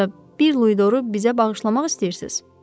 Yoxsa bir luidorru bizə bağışlamaq istəyirsiz?